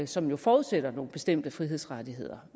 som jo forudsætter nogle bestemte frihedsrettigheder